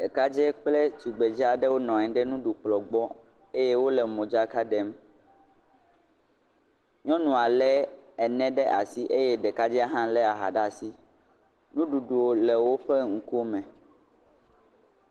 Ɖekadzɛ kple tugbedz aɖe wonɔ anyi ɖe nuɖukplɔ gbɔ eye wole modzaka ɖem. Nyɔnua lé ene ɖe asi eye ɖekadzɛ hã lé aha ɖe asi, nuɖuɖu le woƒe ŋkume.